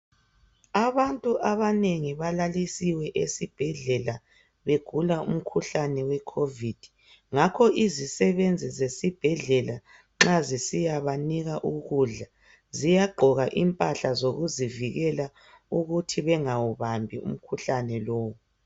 Abantu abanengi balalisiwe esibhedlela begula umkhuhlane we kovithi. Ngakho izisebenzi esibhedlela nxa zisiyabanika ukudla ziyagqoka imphahla zokuzivikela ukuthi bengawubambi umkhuhlani lowu.